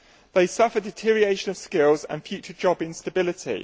They suffer deterioration of skills and future job instability.